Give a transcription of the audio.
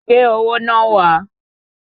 Gbé owó náà wá!